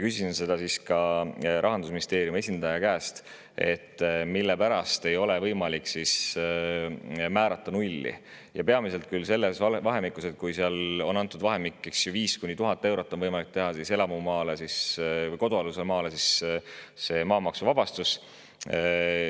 Küsisin siis Rahandusministeeriumi esindaja käest, mille pärast ei ole võimalik määrata nulli, vaid on antud vahemik 5–1000 eurot, on võimalik teha elamumaa või kodualuse maa maksuvabastus.